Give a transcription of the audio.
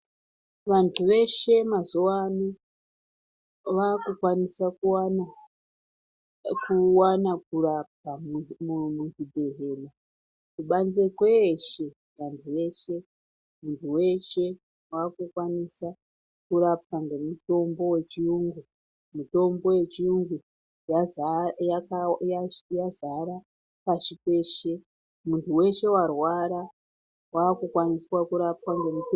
Vantu veshe mazuwano vakukwanisa kuwana kuwana kurarama muzvibhodhlera ,kubanze kweshe vantu veshe muntu weshe wakukwanisa kurapwa ngemitombo yechiyungu. Mitombo yechiyungu , mitombo yechiyungu yazaa yakawa yazvi yazara pashi peshe , muntu weshe warwara wakukwanisa kurapwa ngemitombo.